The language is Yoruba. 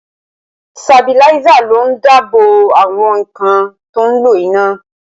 Sabiláísà ló ń dáàbò àwọn nǹkan tó ń lo iná